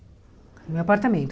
No meu apartamento.